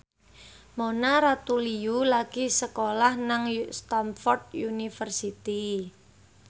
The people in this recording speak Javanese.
Mona Ratuliu lagi sekolah nang Stamford University